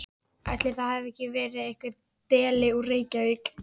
Ætli það hafi ekki verið einhver deli úr Reykjavík.